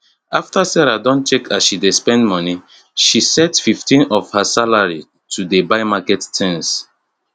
after sarah don check as she dey spend money she set 15 of her salary to dey buy market tins